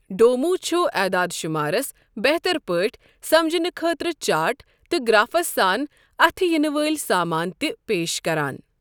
ڈومو چھُ اعدادٕ شمارس بہتر پٲٹھۍ سمجھنہٕ خٲطرٕ چارٹ تہٕ گرافس سان اتِھہِ یِنہٕ وٲلۍ سامان تہِ پیش کران۔